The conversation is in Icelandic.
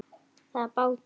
Það er bátur.